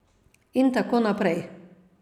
In tako naprej.